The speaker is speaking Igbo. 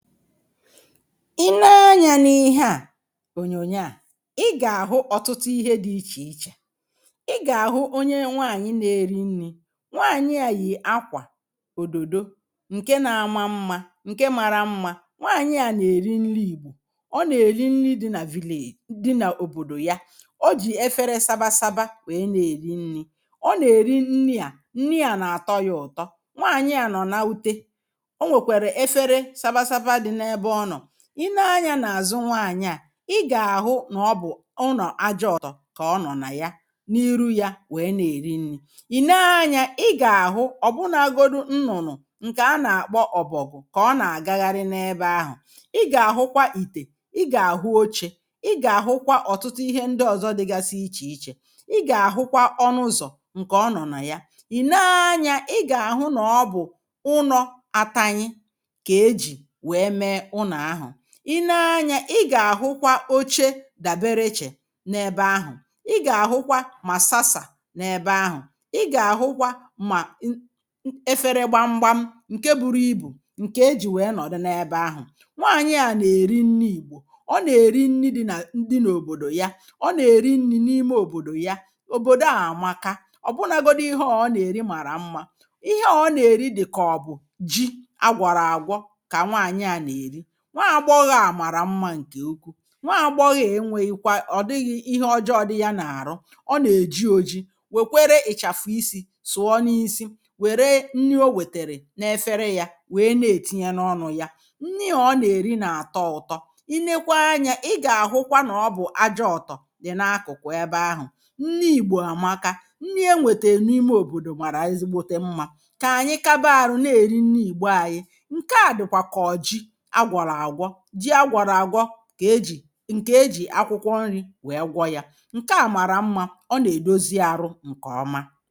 I nee anya n’ihe a ọ̀nyọ̀nyọ a ị ga-ahụ ọtụtụ ihe dị̇ iche iche ị ga-ahụ ọnye nwaanyị na-eri nni̇ nwaanyị a yì akwa ọ̀dọ̀dọ̀ nke na-ama mma nke mara mma nwaanyị a na-eri nli̇ ìgbọ̀ ọ na-eri nri̇ di na village di n’ọ̀bọ̀dọ̀ ya ọ jì efere sabasaba wee na-eli nni ọ na-eli nni a nni a na-atọ ya ụ̀tọ nwaanyị a nọ̀ n’ụte, ọ nwekere efere sabasaba di n'ebe ọnọ. I nee anya na-azụ nwaanyị̀ a i ga-ahụ na ọ bụ̀ ụnọ aja ọ̀tọ ka ọ nọ̀ na ya n’irụ ya wee na-eri nni̇ ì nee anya ị ga-ahụ ọ̀bụnagọdụ nnụ̀nụ̀ nke ana-akpọ ọ̀bọ̀gwụ̀ ka ọ na-agagharị n’ebe ahụ̀ ị ga-ahụkwa ìte ị ga-ahụ ọchė ị ga-ahụkwa ọ̀tụtụ ihe ndị ọ̀zọ dịgasi iche iche ị ga-ahụkwa ọnụ̇zọ̀ nke ọ nọ̀ na ya ì nee anya ị ga-ahụ nọ̀ bụ̀ ụnọ atanye ka eji wee mee ụnọ ahụ. i nee anya ị ga-ahụkwa ọche dabere iche n’ebe ahụ̀ ị ga-ahụkwa ma sasa n’ebe ahụ̀ ị ga-ahụkwa ma ị... ẹfẹrẹ gbamgba nke bụrụ ibụ nke ejì nwee nọ̀dụ n’ebe ahụ̀ nwaanyị a na-eri nni ìgbọ̀ ọ na-eri nni di na di n’ọ̀bọ̀dọ̀ ya ọ na-eri nni̇ n’ime ọ̀bọ̀dọ̀ ya ọ̀bọ̀dọ̀ a amaka ọ̀ bụnagọdọ ihe ọ̀ ọ na-eri mara mma ihe ọ̀ na-eri di ka ọ̀ bụ̀ ji agwọrụ agwọ ka nwanyi a n'eri. nwa agbọghọ a mara mma nke ụkwụ nwa agbọgho a enweyi̇kwa ọ̀ dịghị ihe ọjọọ dị ya na arụ ọ na e ji ọji̇ wekwere ị̀chafụ̀ isi̇ sùọ n’isi were nni ọ wetere n’efere ya wee na-etinye n’ọnụ̇ ya nni a ọ na eri na atọ ụtọ i nekwa anya ị ga-ahụkwa na ọ bụ̀ aja ọ̀tọ̀ dị n’akụ̀kụ̀ ebe ahụ̀ nni ìgbọ̀ amaka nni enwete n'ime ọ̀bọ̀dọ̀ mara ezi gbọ̀te mma ka anyị kaba arụ na eri nni ìgbọ anyị. Nkea dikwa ka ọ bụ Jii agwọrụ agwọ, Jii agwọrụ agwọ ka e jị nke e jị akwụkwọ nri̇ wee gwọ ya nke a mara mma ọ na-edọzi arụ nke ọma